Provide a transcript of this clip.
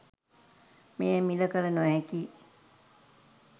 මෙය මිල කළ නොහැකි